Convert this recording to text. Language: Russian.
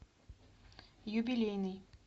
юбилейный